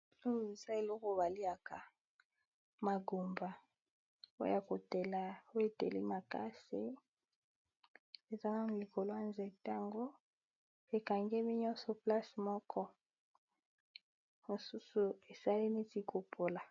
Awa eza eloko baliaka magumba oya kotela oeteli makasi eza nanu likolo ya nzete ango ekangemi nyonso place moko mosusu esali neti kopola.